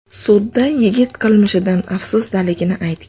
Sudda yigit qilmishidan afsusdaligini aytgan.